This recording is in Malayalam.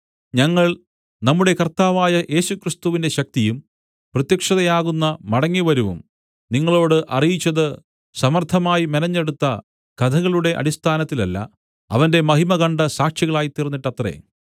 ഞങ്ങൾ നമ്മുടെ കർത്താവായ യേശുക്രിസ്തുവിന്റെ ശക്തിയും പ്രത്യക്ഷതയാകുന്ന മടങ്ങിവരവും നിങ്ങളോട് അറിയിച്ചത് സമർത്ഥമായി മെനഞ്ഞെടുത്ത കഥകളുടെ അടിസ്ഥാനത്തിലല്ല അവന്റെ മഹിമ കണ്ട സാക്ഷികളായിത്തീർന്നിട്ടത്രേ